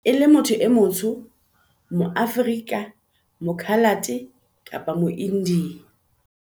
e le motho e motsho, moAforika, moKhalate kapa moIndiya.